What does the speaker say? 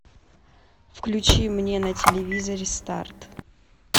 включи мне на телевизоре старт